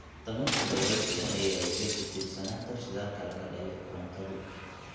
Tamarta dabayshu waxay yaraysay ku tiirsanaanta shidaalka laga dhaliyo korontadu.